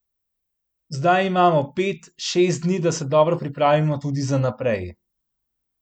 Zdaj imamo pet, šest dni, da se dobro pripravimo tudi za naprej.